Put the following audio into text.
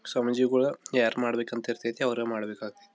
ಸ್ವಾಮೀಜಿಗಳು ಯಾರ್ ಮಾಡ್ಬೇಕ್ ಅಂತಿರತೈತಿ ಅವ್ರೆ ಮಾಡ್ಬೇಕ್ ಆಗೈತೆ.